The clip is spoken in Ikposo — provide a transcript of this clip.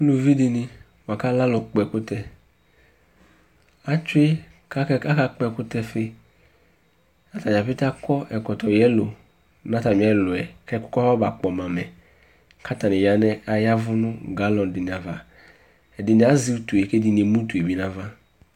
uluvi di ni boa kò alɛ alo kpɔ ɛkutɛ atsue k'aka kpɔ ɛkutɛ fi atadza ƒete akɔ ɛkɔtɔ yɛlo n'atami ɛluɛ k'ɛkò kɔ ma kpɔ mɛ k'atani ya nɛ ayavu no galɔn di ni ava ɛdini azɛ utue k'ɛdini emu utue bi n'ava